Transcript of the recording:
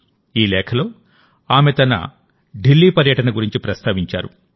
ఈ లేఖలో ఆమె తన ఢిల్లీ పర్యటన గురించి ప్రస్తావించారు